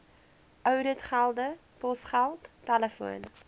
ouditgelde posgeld telefoon